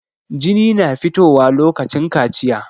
Jini na fito wa lokacin kaciya